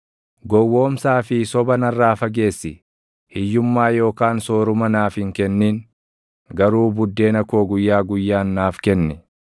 Gowwoomsaa fi soba narraa fageessi; hiyyummaa yookaan sooruma naaf hin kennin; garuu buddeena koo guyyaa guyyaan naaf kenni.